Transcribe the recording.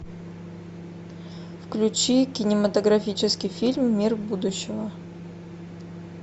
включи кинематографический фильм мир будущего